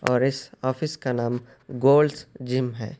اور اس آفس کا نام گولڈز جِم ہے۔